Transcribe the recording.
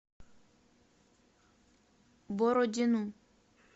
бородину